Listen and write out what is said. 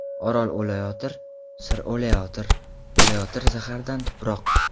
Orol o‘layotir, Sir o‘layotir, O‘layotir zahardan tuproq.